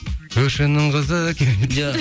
көршінің қызы керемет